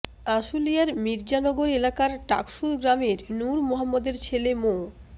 আশুলিয়ার মির্জানগর এলাকার টাকসুর গ্রামের নূর মোহাম্মদের ছেলে মো